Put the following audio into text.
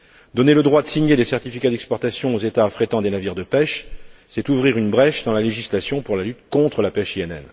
Donner le droit de signer des certificats d'exportation aux États affrétant des navires de pêche, c'est ouvrir une brèche dans la législation sur la lutte contre la pêche INN.